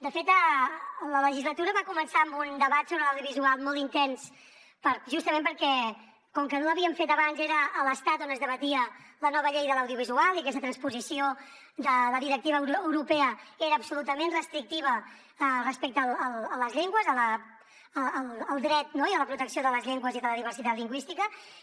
de fet la legislatura va començar amb un debat sobre l’audiovisual molt intens justament perquè com que no l’havíem fet abans era a l’estat on es debatia la nova llei de l’audiovisual i aquesta transposició de la directiva europea era absolutament restrictiva respecte a les llengües al dret i a la protecció de les llengües i de la diversitat lingüística